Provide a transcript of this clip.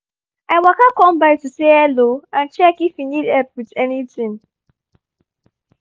i waka come by to say hello and check if you need help with anything